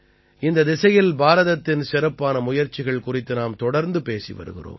இந்தத் திசையில் பாரதத்தின் சிறப்பான முயற்சிகள் குறித்து நாம் தொடர்ந்து பேசி வருகிறோம்